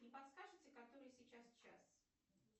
не подскажете который сейчас час